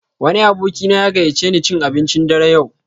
Wani abokina ya gayyace ni cin abincin dare yau.